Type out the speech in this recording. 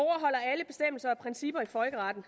principper i folkeretten